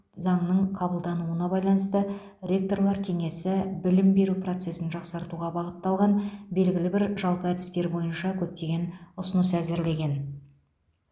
заңның қабылдануына байланысты ректорлар кеңесі білім беру процесін жақсартуға бағытталған белгілі бір жалпы әдістер бойынша көптеген ұсыныс әзірлеген